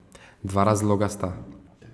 Dva razloga sta.